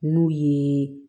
N'u ye